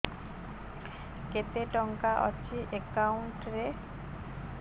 କେତେ ଟଙ୍କା ଅଛି ଏକାଉଣ୍ଟ୍ ରେ